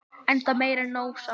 enda meir en nóg sagt